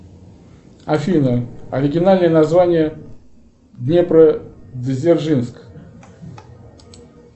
афина оригинальное название днепродзержинск